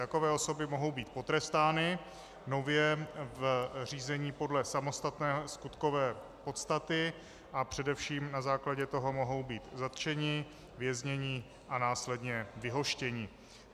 Takové osoby mohou být potrestány nově v řízení podle samostatné skutkové podstaty a především na základě toho mohou být zatčeny, vězněny a následně vyhoštěny.